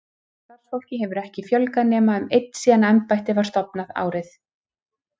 Starfsfólki hefur ekki fjölgað nema um einn síðan embættið var stofnað, árið